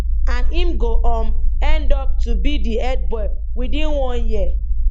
and im go um end up to be di head boy within one year